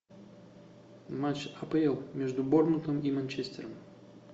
матч апл между борнмутом и манчестер